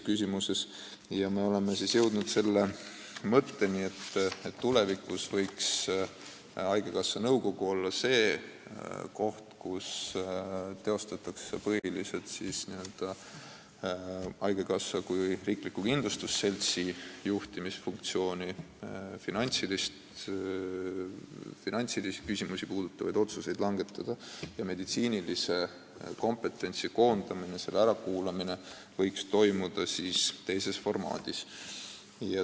Me oleme jõudnud mõttele, et tulevikus võiks haigekassa nõukogu olla see koht, kus teostatakse põhiliselt haigekassa kui riikliku kindlustusseltsi juhtimisfunktsiooni, finantsküsimusi puudutavaid otsuseid langetades, aga meditsiinilise kompetentsi koondamine ja selle ärakuulamine võiks toimuda teises formaadis.